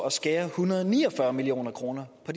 at skære en hundrede og ni og fyrre million kroner på